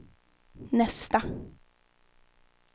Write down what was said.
nästa